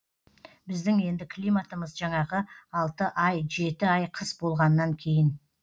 біздің енді климатымыз жаңағы алты ай жеті ай қыс болғаннан кейін